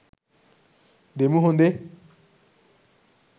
දෙමු හොඳේ